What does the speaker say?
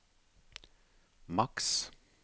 maks